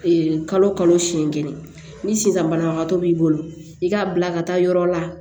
kalo kalo siɲɛn kelen ni sisan banabagatɔ b'i bolo i k'a bila ka taa yɔrɔ la